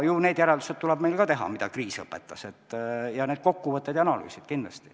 Ju need järeldused tuleb meil ka teha, mida kriis õpetas, need kokkuvõtted ja analüüsid.